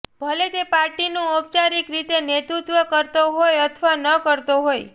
ભલે તે પાર્ટીનું ઔપચારિક રીતે નેતૃત્વ કરતો હોય અથવા ન કરતો હોય